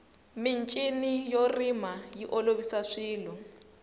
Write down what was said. michini yo rima yi olovisa swilo